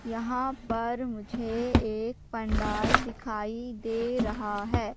यहां पर मुझे एक पंडाल दिखाई दे रहा है।